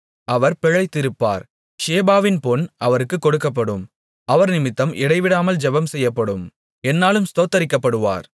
அவர் பிழைத்திருப்பார் ஷேபாவின் பொன் அவருக்குக் கொடுக்கப்படும் அவர்நிமித்தம் இடைவிடாமல் ஜெபம்செய்யப்படும் எந்நாளும் ஸ்தோத்திரிக்கப்படுவார்